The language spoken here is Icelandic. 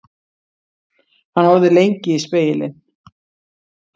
Hann horfði lengi í spegilinn.